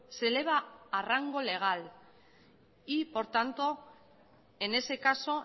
se eleva a rango legal y por tanto en ese caso